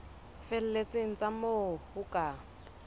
felletseng tsa moo ho ka